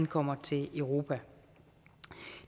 kommer til europa